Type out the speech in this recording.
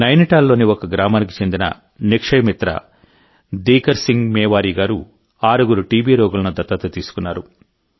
నైనిటాల్లోని ఒక గ్రామానికి చెందిన నిక్షయ మిత్ర దీకర్ సింగ్ మేవారీ గారు ఆరుగురు టీబీ రోగులను దత్తత తీసుకున్నారు